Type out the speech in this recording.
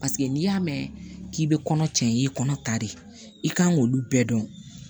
Paseke n'i y'a mɛn k'i bɛ kɔnɔ cɛ i ye kɔnɔ ta de i kan k'olu bɛɛ dɔn